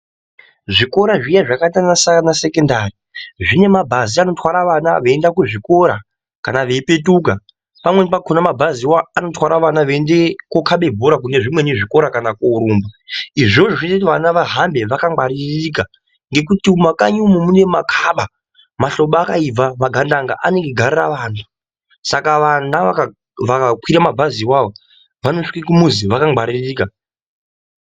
Zvikora zviya zvakaita sana sekendari zvine mabhazi anotwara vana veienda kuzvikora kana veipetuka pamweni pachona anotwara vana kana veienda kunokhaba mabhora kune zvimweni zvikora kana korumba. Izvi zvinoita kuti vana vafambe vakangwaririka ngekuti mumakanyi umu mune makhaba, mahlobo akaibva magandanga anenge eigarira vana, saka vana vakakwira mabhazi iwawo vanosvike kumuzi vakangwaririka.